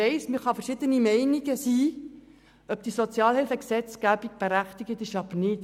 Man kann verschiedener Meinung sein, ob die Sozialhilfegesetzgebung berechtigt ist oder nicht.